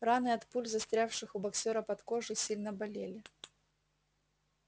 раны от пуль застрявших у боксёра под кожей сильно болели